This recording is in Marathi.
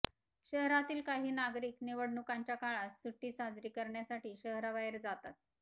शहरातील काही नागरिक निवडणुकांच्या काळात सुट्टी साजरी करण्यासाठी शहराबाहेर जातात